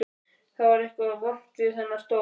Það var eitthvað vont við þennan stól.